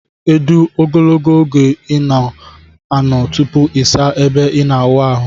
edu ogologo oge ina ano tupu isa ebe ina awụ ahu?